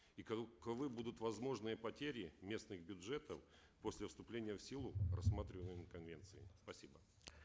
и каковы будут возможные потери местных бюджетов после вступления в силу рассматриваемой конвенции спасибо